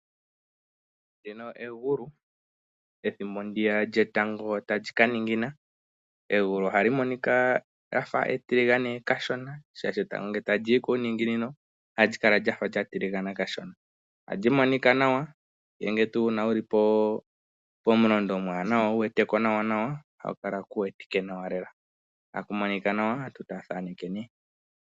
Ndi ka egulu oethimbo lyegulu tali ka ningina. Egulu ohali monika lya fa etiligane kashona, oshoka etango ngele tali yi kuuninginino ohali kala lya fa tiligana kashona. Ohali monika nawa uuna wu li pomulondo omwaanawa wu wete ko nawa, ohaku kala ku wetike nawa lela. Ohaku monika nawa aantu taya thaneke nduno.